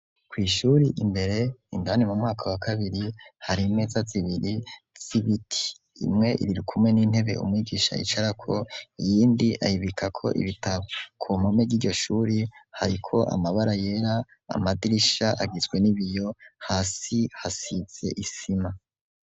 Kw'ishure, imbere, indani mu mwaka wa kabiri, hari imeza zibiri z'ibiti. Imwe irikumwe n'intebe umwigisha yicarako, iyindi ayibikako ibitabo. Ku mpome z'iryo shure hariko amabara yera, amadirisha agizwe n'ibiyo, hasi hasize isima.